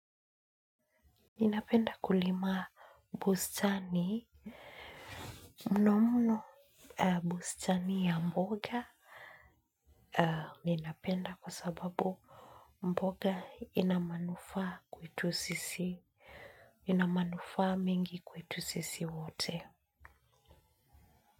Ninapenda kulima bustani, mnomno bustani ya mboga ninapenda kwa sababu mboga ina manufaa kwetu sisi, ina manufaa mingi kwetu sisi wote.